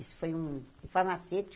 Isso foi um farmacêutico.